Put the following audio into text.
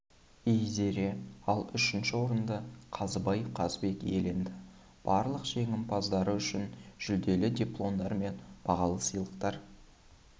ійзере ал үшінші орынды қазыбай қазбек иеленді барлық жеңімпаздары үшін жүлделі дипломдар мен бағалы сыйлықтар